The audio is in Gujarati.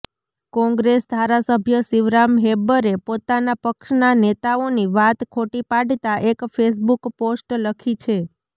કોંગ્રેસ ધારાસભ્ય શિવરામ હેબ્બરે પોતાના પક્ષના નેતાઓની વાત ખોટી પાડતા એક ફેસબુક પોસ્ટ લખી છે